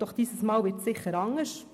Doch dieses Mal wird es sicher anders.